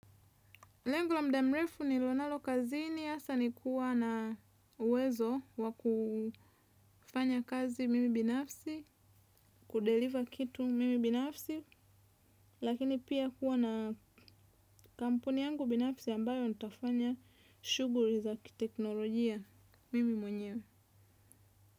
Lengu la muda mrefu nililo nalo kazini hasaa ni kuwa na uwezo wa kufanya kazi mimi binafsi, kudeliver kitu mimi binafsi, lakini pia kuwa na kampuni yangu binafsi ambayo nitafanya shughuli za kiteknolojia mimi mwenyewe.